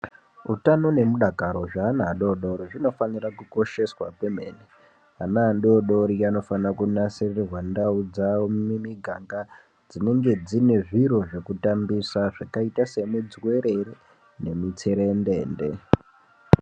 Eutano nemudakaro zveana adodori zvinofanira kukosheswa kwemene. Ana adodori anofana kunasirirwa ndau dzavo mumiganga dzinonge dzine zviro zvekutambisa, zvakaita semudzuwerere, nemitserendende.